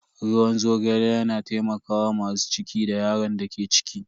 Ruwan zogale yana taimakawa masu ciki da yaron da ke ciki.